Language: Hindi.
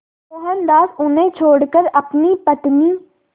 मोहनदास उन्हें छोड़कर अपनी पत्नी